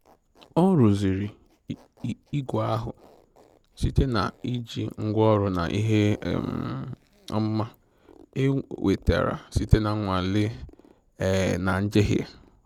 Ọ rụziri igwe ahụ site na iji ngwaọrụ na ihe um ọmụma e nwetara site na nnwale um na njehie